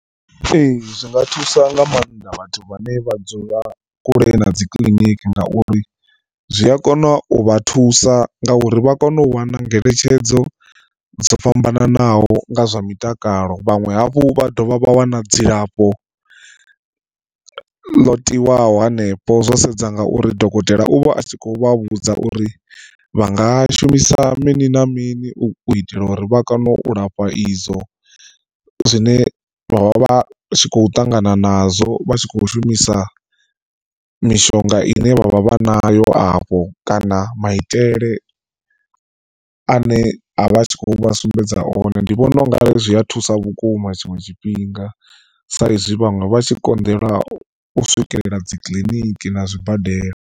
Ee zwi nga thusa nga maanḓa vhathu vhane vha dzula kule na dzi kiliniki ngauri zwi a kona u vha thusa nga uri vha kona u wana ngeletshedzo dzo fhambananaho nga zwa mitakalo. Vhaṅwe hafhu vha dovha vha wana dzilafho ḽo tiwaho hanefho zwo sedza nga uri dokotela u vha a tshi khou vha vhudza uri vha nga shumisa mini na mini u itela uri vha kone u lafha izwo zwine vha vha vha tshi kho ṱangana nazwo vha tshi kho shumisa mishonga ine vha vha vha nayo afho. Kana maitele ane avha a tshi khou vha sumbedza one ndi vhona ungari zwi a thusa vhukuma tshiṅwe tshifhinga sa izwi vhaṅwe vha tshi konḓelwa u swikelela dzikiḽiniki na zwibadela.